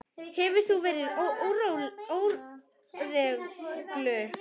Hefur hún verið í óreglu?